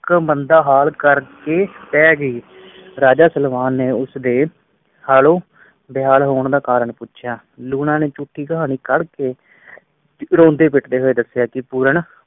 ਇਕ ਮੰਦਾ ਹਾਲ ਕਰ ਕੇ ਪੈ ਗਈ ਰਾਜਾ ਸਲਵਾਨ ਨੇ ਉਸ ਦੇ ਹਾਲੋਂ ਬੇਹਾਲ ਹੋਣ ਦਾ ਕਾਰਨ ਪੁੱਛਿਆ ਲੂਣਾ ਝੂਠੀ ਕਹਾਣੀ ਘੜ ਕੇ ਇਕਲੌਤੇ ਬੇਟੇ ਨੇ ਦੱਸਿਆ ਕਿ ਪੂਰਨ